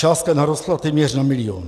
Částka narostla téměř na milion.